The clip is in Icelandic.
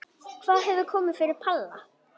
Hvað hefur komið fyrir Palla?